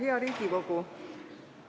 Hea Riigikogu!